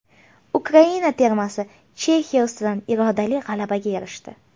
Ukraina termasi Chexiya ustidan irodali g‘alabaga erishdi.